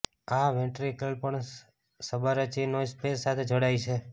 આ વેન્ટ્રિકલ પણ subarachnoid space સાથે જોડાય છે